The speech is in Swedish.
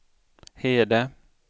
Hede